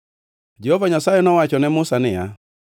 Jehova Nyasaye nowacho ne Musa niya,